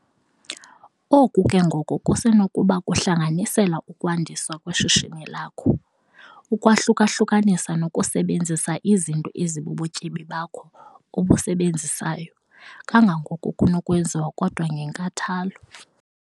Oku ke ngoko kusenokuba kuhlanganisela ukwandiswa kweshishini lakho, ukwahluka-hlukanisa nokusebenzisa izinto ezibubutyebi bakho obusebenzisayo kangangoko kunokwenziwa kodwa ngenkathalo.